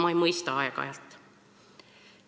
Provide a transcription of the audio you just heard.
Ma ei mõista aeg-ajalt.